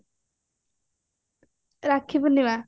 rakhi Purnima